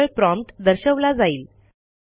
केवळ प्रॉम्प्ट दर्शवला जाईल